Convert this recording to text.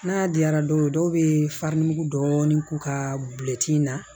N'a diyara dɔw ye dɔw bɛ farini dɔɔni k'u ka in na